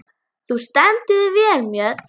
Þú stendur þig vel, Mjöll!